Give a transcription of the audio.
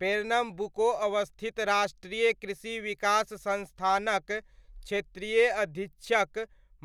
Pernambuco अवस्थित राष्ट्रीय कृषि विकास संस्थानक क्षेत्रीय अधीक्षक